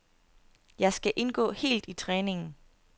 Jeg skal indgå helt i træningen.